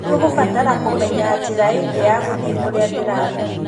Nĩ ũkũbatara kũmenya njĩra ĩngĩ ya gũthiĩ kũrĩa ndĩrathiĩ.